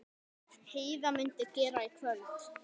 Heiða mundi gera í kvöld.